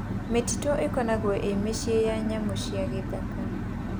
Mĩtitũ ĩkoragũo ĩ mũciĩ wa nyamũ cia gĩthaka.